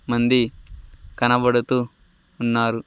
మంది కనబడుతూ ఉన్నారు.